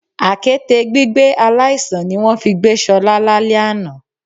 Àkéte gbígbé aláìsàn ni wón fi gbé Solá lálé àná